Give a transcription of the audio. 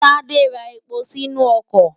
Tádé ra epo sínú ọkọ̀.